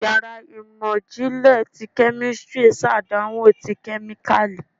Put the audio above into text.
Íyarà imọ jinlẹ tí kemistri ṣàdánwò tí kemíkalí